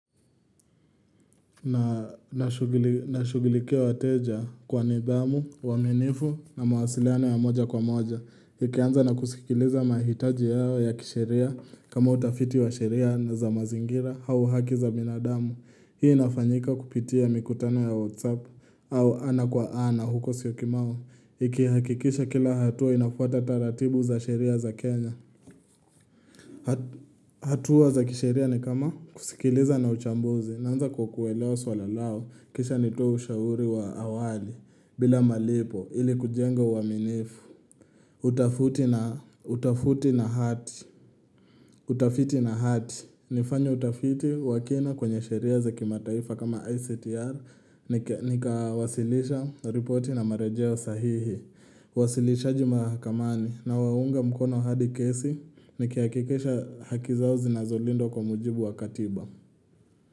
Na nashughulikia wateja kwa nidhamu, uaminifu na mawasiliano ya moja kwa moja. Nikianza na kusikiliza mahitaji yao ya kisheria kama utafiti wa sheria na za mazingira au haki za binadamu. Hii inafanyika kupitia mikutano ya whatsapp au ana kwa ana huko siyokimau. NIkihakikisha kila hatua inafuata taratibu za sheria za Kenya. Hatua za kisheria ni kama kusikiliza na uchambuzi naanza kwa kuelewa swala lao. Kisha nitoe shauri wa awali bila malipo ili kujenga uaminifu. Utafuti na hati. Utafiti na hati. Nifanye utafiti wakina kwenye sheria za kimataifa kama ICTR. Nikawasilisha repoti na marejeo sahihi. Wasilishaji mahakamani na waunga mkono hadi kesi. Nikihakikisha haki zao zinazolindwa kwa muujibu wa katiba.